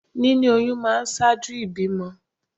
Níní oyún máa ń ṣáájú ìbímọ